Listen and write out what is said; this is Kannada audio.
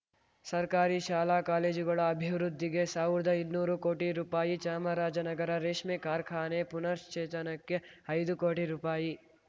ಸರ್ಕಾರಿ ಶಾಲಾಕಾಲೇಜುಗಳ ಅಭಿವೃದ್ಧಿಗೆ ಸಾವ್ರ್ದ ಇನ್ನೂರು ಕೋಟಿ ರೂಪಾಯಿ ಚಾಮರಾಜ ನಗರ ರೇಷ್ಮೆ ಕಾರ್ಖಾನೆ ಪುನಶ್ಚೇತನಕ್ಕೆ ಐದು ಕೋಟಿ ರೂಪಾಯಿ